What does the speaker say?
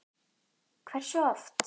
Hversu oft?